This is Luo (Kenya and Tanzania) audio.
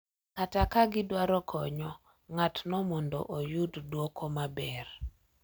Kata ka gidwaro konyo ng’atno mondo oyud dwoko maber.